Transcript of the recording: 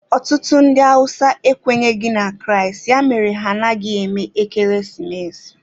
Otutu ndi hausa ekwenyeghi na kraist, ya mere ha anaghi eme ekeresimesi